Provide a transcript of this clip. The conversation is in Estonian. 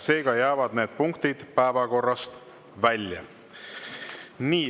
Seega jäävad need punktid päevakorrast välja.